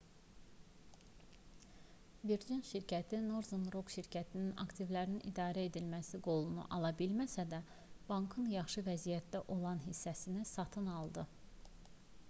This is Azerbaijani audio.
virgin şirkəti northern rock şirkətinin aktivlərin idarə edilməsi qolunu ala bilməsə də bankın yaxşı vəziyyətdə olan hissəsini satın aldı